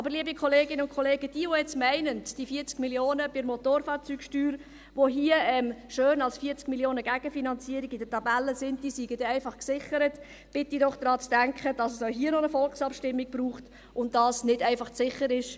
Aber, liebe Kolleginnen und Kollegen, diejenigen, die jetzt meinen, die 40 Mio. Franken bei der Motorfahrzeugsteuer, die hier schön als 40 Mio. Franken Gegenfinanzierung in der Tabelle stehen, seien dann einfach gesichert, bitte ich doch, daran zu denken, dass es auch hier noch eine Volksabstimmung braucht und dass dies nicht einfach sicher ist.